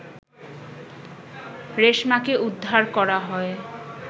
রেশমাকে উদ্ধার করা হয়